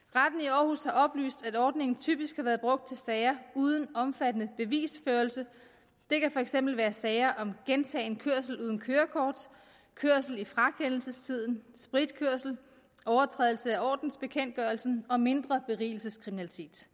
aarhus har oplyst at ordningen typisk har været brugt til sager uden omfattende bevisførelse det kan for eksempel være sager om gentagen kørsel uden kørekort kørsel i frakendelsestiden spritkørsel overtrædelse af ordensbekendtgørelsen og mindre berigelseskriminalitet